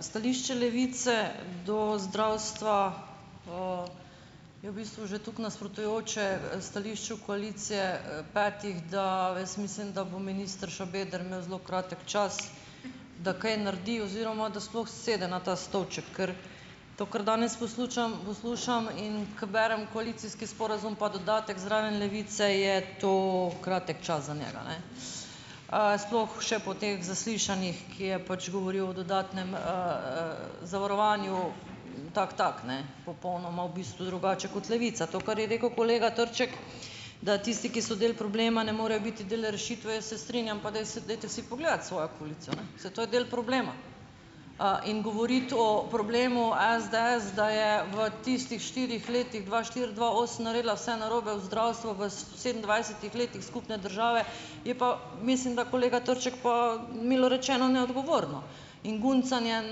Stališče Levice do zdravstva je v bistvu že toliko nasprotujoče stališču koalicije, petih, da jaz mislim, da bo minister Šabeder imel zelo kratek čas, da kaj naredi oziroma da sploh sede na ta stolček. Ker to, kar danes poslušam, in ko berem koalicijski sporazum pa dodatek zraven Levice, je to kratek čas za njega ne. Sploh še po teh zaslišanjih, ki je pač govoril o dodatnem, zavarovanju, tako tako ne, popolnoma v bistvu drugače kot Levica. To, kar je rekel kolega Trček, da tisti, ki so del problema, ne morejo biti del rešitve, jaz se strinjam. Pa dajte si pogledati svojo koalicijo, ne, saj to je del problema. In govoriti o problemu SDS, da je v tistih štirih letih dva štiri-dva osem naredila vse narobe v zdravstvu, v sedemindvajsetih letih skupne države, je pa, mislim, da kolega Trček, pa milo rečeno, neodgovorno. In guncanje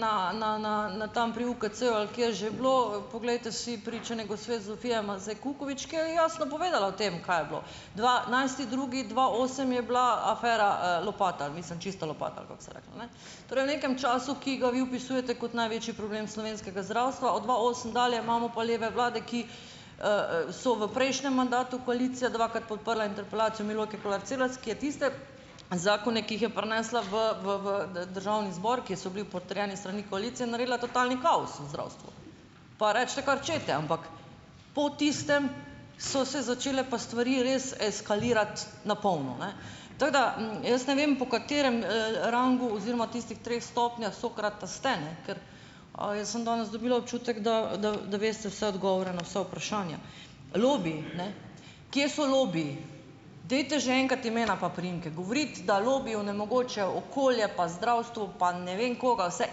na, na, na, na tam pri UKC-ju, ali kje je že bilo, poglejte si pričanje gospe Zofije Mazej Kukovič, ki je jasno povedala o tem, kaj je bilo dvanajsti drugi dva osem je bila afera, Lopata, mislim, Čista Lopata, ali kako se je reklo, ne. Torej, v nekem času, ki ga vi opisujete kot največji problem slovenskega zdravstva, od dva osem dalje imamo pa leve vlade, ki, so v prejšnjem mandatu koalicije dvakrat podprle interpelacijo Milojke Kolar Celarc, ki je tiste zakone, ki jih je prinesla v, v državni zbor, ki so bili potrjeni s strani koalicije, naredila totalni kaos v zdravstvu. Pa recite kar hočete, ampak po tistem so se začele pa stvari res eskalirati na polno, ne. Tako da jaz ne vem, po katerem, rangu oziroma tistih treh stopnjah Sokrata ste, ne, ker, jaz sem danes dobila občutek, da, da, da veste vse odgovore na vsa vprašanja. Lobiji, ne, kje so lobiji. Dajte že enkrat imena in priimke! Govoriti, da lobiji onemogočajo okolje pa zdravstvo pa ne vem kaj, vse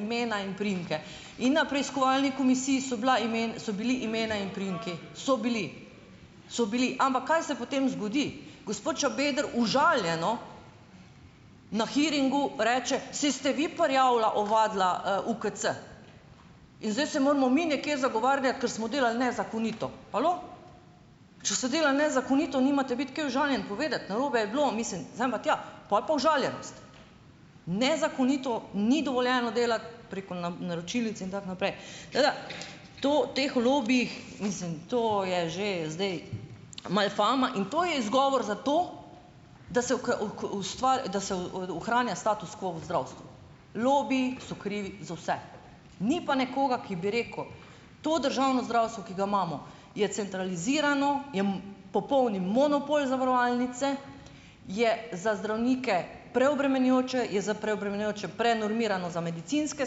imena in priimke! In na preiskovalni komisiji so bila so bili, imena in priimki so bili so bili. Ampak, kaj se potem zgodi? Gospod Šabeder užaljeno na hearingu reče: "Saj ste vi prijavila, ovadila, UKC." In zdaj se moramo mi nekje zagovarjati, ker smo delali nezakonito. Halo?! Če so delali nezakonito, nimate biti kaj užaljen. Povedati, narobe je bilo, mislim, sem pa tja, pol pa užaljenost. Nezakonito ni dovoljeno delati, preko naročilnic in tako naprej. Tako da to teh lobijih, mislim, to je že zdaj malo fama. In to je izgovor za to, da se da se, ohranja status quo v zdravstvu, lobiji so krivi za vse. Ni pa nekoga, ki bi rekel: "To državno zdravstvo, ki ga imamo, je centralizirano, popolni monopol zavarovalnice, je za zdravnike preobremenjujoče, je za preobremenjujoče, prenormirano za medicinske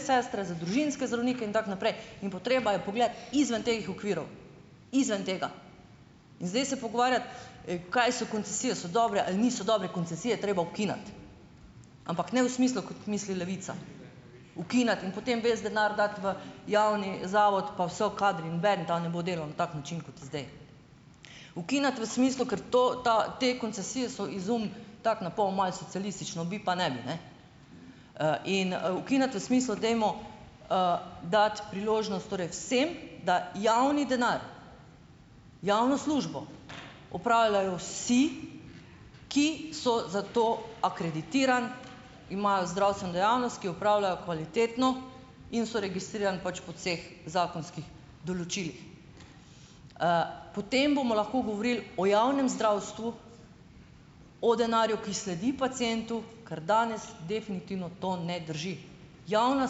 sestre, za družinske zdravnike in tako naprej. In potreba je pogledati izven teh okvirov, izven tega." In zdaj se pogovarjati, kaj so koncesije, so dobre ali niso dobre, koncesije je treba ukiniti! Ampak ne v smislu, kot misli Levica, ukiniti in potem ves denar dati v javni zavod, pa vsi kadri, noben da ne bo delal na tak način, kot je zdaj. Ukiniti v smislu, ker to, ta, te koncesije so izum tako napol malo socialistično, bi pa ne bi, ne, in ukiniti v smislu, dajmo, dati priložnost torej vsem, da javni denar, javno službo opravljajo vsi, ki so za to akreditirani, imajo zdravstveno dejavnost, ki opravljajo kvalitetno in so registrirani pač po vseh zakonskih določilih. Potem bomo lahko govorili o javnem zdravstvu, o denarju, ki sledi pacientu, kar danes definitivno to ne drži. Javno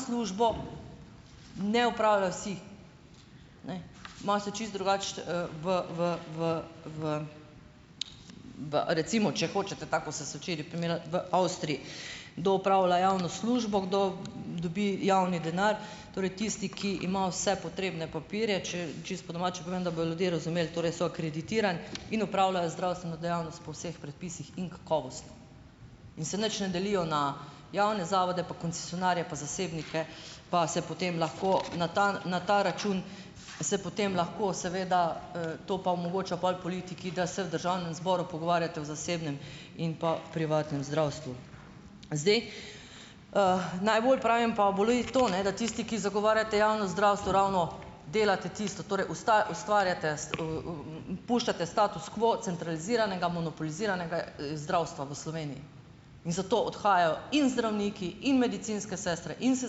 službo ne opravljajo vsi, ne, imate čisto drugače, v, v, v, v pa recimo, če hočete tako, kot ste se včeraj primerjali, v Avstriji, kdo opravlja javno službo, kdo dobi javni denar, torej tisti, ki ima vse potrebne papirje, če čisto po domače povem, da bojo ljudje razumeli, torej so akreditirani in opravljajo zdravstveno dejavnost po vseh predpisih in kakovostno. In se nič ne delijo na javne zavode pa koncesionarje pa zasebnike pa se potem lahko na ta, na ta račun se potem lahko seveda, to pa omogoča pol politiki, da se v državnem zboru pogovarjate o zasebnem in pa privatnem zdravstvu. Zdaj, najbolj pravim, pa boli to, ne, da tisti, ki zagovarjate javno zdravstvo, ravno delate tisto, torej ustvarjate, puščate status kaj centraliziranega, monopoliziranega zdravstva v Sloveniji in zato odhajajo in zdravniki in medicinske sestre in se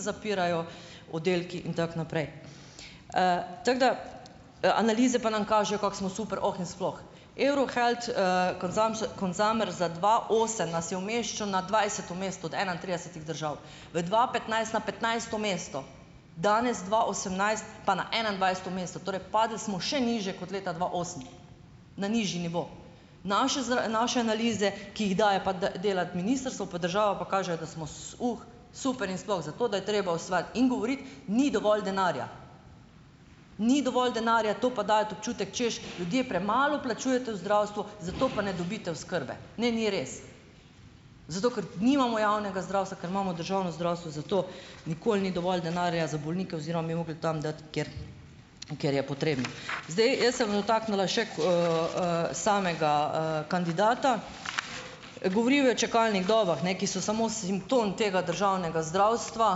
zapirajo oddelki, in tako naprej, Tako da, analize pa nam kažejo, kako smo super oh in sploh. Eurohealth, consumer za dva osem nas je umeščal na dvajseto mesto od enaintridesetih držav. V dva petnajst na petnajsto mesto, danes dva osemnajst pa na enaindvajseto mesto, torej padli smo še nižje kot leta dva osem na nižji nivo. Naše naše analize, ki jih daje pa delati ministrstvo, pa država, pa kaže, da smo, super in sploh za to, da je treba osvati in govoriti, ni dovolj denarja. Ni dovolj denarja, to pa dajete občutek, češ, ljudje premalo plačujete v zdravstvo, zato pa ne dobite oskrbe. Ne, ni res. Zato, ker nimamo javnega zdravstva, ker imamo državno zdravstvo, zato nikoli ni dovolj denarja za bolnike oziroma bi morali tam dati, kjer, kjer je potrebno. Zdaj, jaz se bom dotaknila še samega, kandidata. Govoril je o čakalnih dobah, ne, ki so samo simptom tega državnega zdravstva,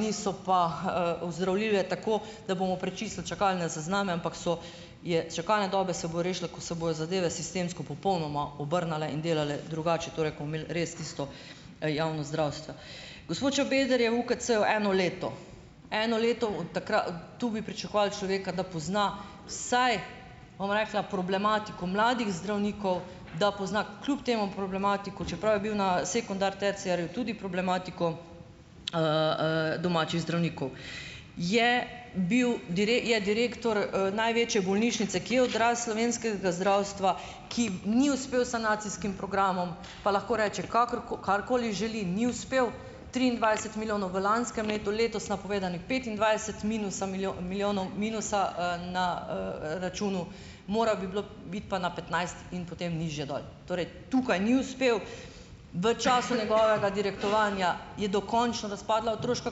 niso pa, ozdravljive tako, da bomo prečistili čakalne sezname, ampak so, je čakalne dobe se bo rešilo, ko se bojo zadeve sistemsko popolnoma obrnile in delale drugače, torej ko bomo imeli res tisto javno zdravstvo. Gospod Šabeder je v UKC eno leto. Eno leto od tu bi pričakovali človeka, da pozna vsaj, bom rekla, problematiko mladih zdravnikov, da pozna kljub temu problematiko, čeprav je bil na sekundar, terciarju tudi problematiko, domačih zdravnikov. Je bil je direktor, največje bolnišnice, ki je odraz slovenskega zdravstva, ki ni uspel s sanacijskim programom, pa lahko reče karkoli želi, ni uspel, triindvajset milijonov v lanskem letu, letos napovedanih petindvajset minusa milijonov minusa, na, računu, moralo bi bilo biti pa na petnajst in potem nižje dol. Torej, tukaj ni uspel. V času njegovega direktorovanja je dokončno razpadla otroška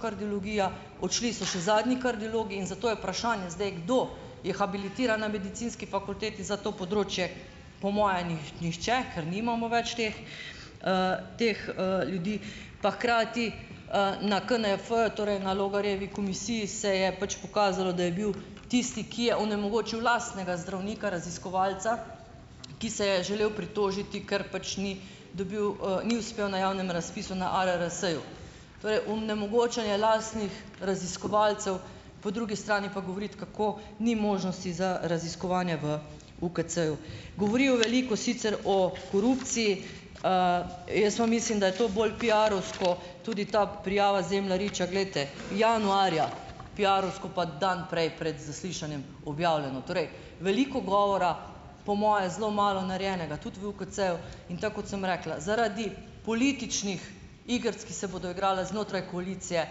kardiologija, odšli so še zadnji kardiologi in zato je vprašanje zdaj, kdo je habilitiran na medicinski fakulteti za to področje. Po moje nihče, ker nimamo več teh, teh, ljudi. Pa hkrati, na KNEF, torej na Logarjevi komisiji se je pač pokazalo, da je bil tisti, ki je onemogočil lastnega zdravnika raziskovalca, ki se je želel pritožiti, ker pač ni dobil, ni uspel na javnem razpisu na ARRS-ju. Torej, onemogočanje lastnih raziskovalcev, po drugi strani pa govoriti, kako ni možnosti za raziskovanje v UKC-ju. Govoril je veliko sicer o korupciji. Jaz pa mislim, da je to bolj piarovsko, tudi ta prijava Zemljariča, glejte, januarja, piarovsko pa dan prej pred zaslišanjem objavljeno. Torej veliko govora, po mojem zelo malo narejenega, tudi v UKC-ju, in tako kot sem rekla, zaradi političnih igric, ki se bodo igrali znotraj koalicije,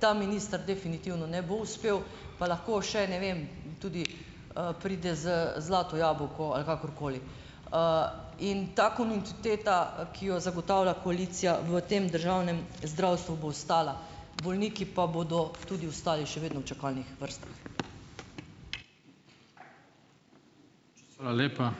ta minister definitivno ne bo uspel, pa lahko še, ne vem, tudi, pride z zlato jabolko ali kakorkoli. In ta kontinuiteta, ki jo zagotavlja koalicija v tem državnem zdravstvu, bo ostala, bolniki pa bodo tudi ostali še vedno v čakalnih vrstah.